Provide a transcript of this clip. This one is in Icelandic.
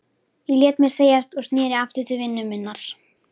Ég lét mér segjast og sneri aftur til vinnu minnar.